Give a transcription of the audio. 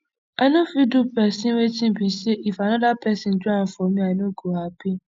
i no fit do pesin wetin be say if anoda pesin do am for me i no go happy